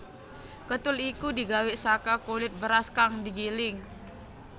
Katul iku digawé saka kulit beras kang digiling